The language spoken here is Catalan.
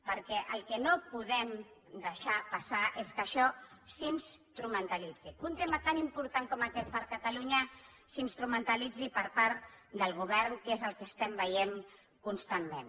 perquè el que no podem deixar passar és que això s’instrumentalitzi que un tema tan important com aquest per a catalunya s’instrumentalitzi per part del govern que és el que estem veient constantment